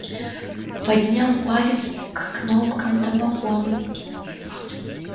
поднял палец к кнопкам домофона